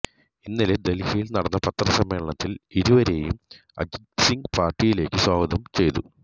ഇന്നലെ ദല്ഹിയില് നടന്ന പത്രസമ്മേളനത്തില് ഇരുവരേയും അജിത്സിംഗ് പാര്ട്ടിയിലേക്ക് സ്വാഗതം ചെയ്തു